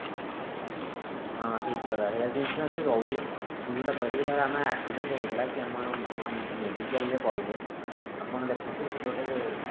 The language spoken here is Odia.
ହଁ ଠିକ କଥା health insurance ବି ରହୁଛି ମୁଁ ଯୋଉଟା କହିଲି କି ଧର ଆମେ accident ହେଇଗଲା କି ଆମର medical ରେ ପଡିଲେ ଆପଣ ଦେଖନ୍ତୁ ଗୋଟେ ଗୋଟେ